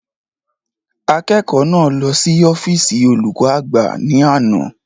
Akẹ́kọ̀ọ́ náà lọ sí ọ́físì olùkọ́ àgbà ni ana